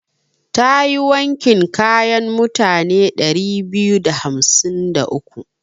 Ta yi wankin kayan mutane ɗari biyu da hamsin da uku.